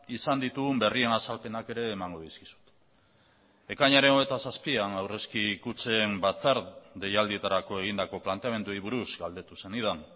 izan ditugun berrien azalpenak ere emango dizkizut ekainaren hogeita zazpian aurrezki kutxen batzar deialdietarako egindako planteamenduei buruz galdetu zenidan